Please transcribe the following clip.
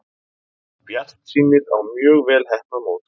Bjartsýnir á mjög vel heppnað mót